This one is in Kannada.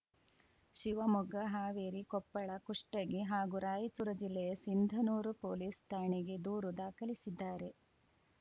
ಶಿವಮೊಗ್ಗ ಹಾವೇರಿ ಕೊಪ್ಪಳ ಕುಷ್ಟಗಿ ಹಾಗೂ ರಾಯಚೂರು ಜಿಲ್ಲೆಯ ಸಿಂಧನೂರು ಪೊಲೀಸ್‌ ಠಾಣೆಗೆ ದೂರು ದಾಖಲಿಸಿದ್ದಾರೆ